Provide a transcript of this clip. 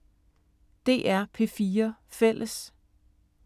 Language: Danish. DR P4 Fælles